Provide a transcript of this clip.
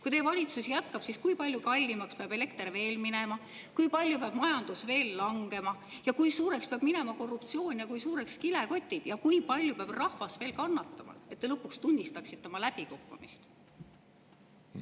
Kui teie valitsus jätkab, siis kui palju kallimaks peab elekter veel minema, kui palju peab majandus veel langema, kui suureks peab minema korruptsioon ja kui suureks kilekotid ning kui palju peab rahvas veel kannatama, et te lõpuks tunnistaksite oma läbikukkumist?